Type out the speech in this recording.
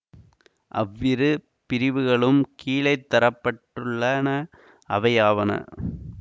அவ் இரு பிரிவுகளும் கீழேதரப் பட்டுள்ளன அவையாவன